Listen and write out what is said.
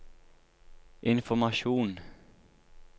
informasjon